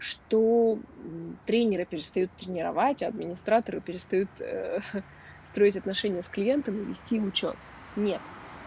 что мм тренеры перестают тренировать а администраторы перестают строить отношения с клиентами и вести учёт нет